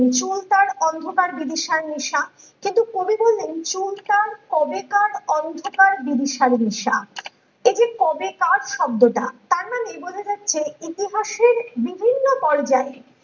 চুল তার অন্ধকার বিভিসার নেশা কিন্তু কবি বললেন চুল তার কবেকার অন্ধকার বিভিসার নেশা এই যে কবেকার শব্দটা তার মানে এই বোঝা যাচ্ছে ইতিহাসের বিভিন্ন পর্যায়ে